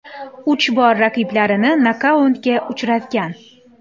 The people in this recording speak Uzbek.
Uch bor raqiblarini nokautga uchratgan.